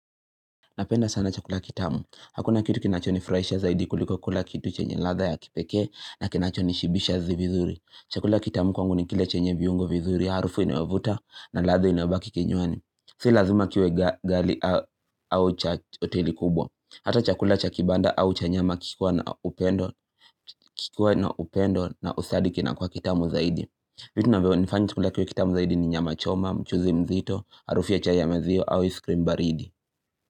Napenda sana chakula kitamu. Hakuna kitu kinacho nifurahisha zaidi kuliko kula kitu chenye ladha ya kipeke na kinacho nishibisha vizuri. Chakula kitamu kwangu ni kile chenye viungo vizuri. Harufu inayovuta na ladha inayobaki kenywani. Si lazima kiwe ghali au cha hoteli kubwa. Hata chakula cha kibanda au cha nyama kikiwa na upendo na usadiki kina kuwa kitamu zaidi. Vitu vinavyo nifanya chakula kiwe kitamu zaidi ni nyama choma, mchuzi mzito, harufu ya chai ya maziwa au iskrim baridi.